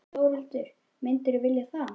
Þórhildur: Myndirðu vilja það?